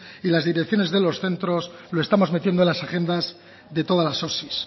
y las direcciones de los centros lo estamos metiendo en las agendas de todas las osi